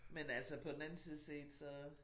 Men altså på den anden side set så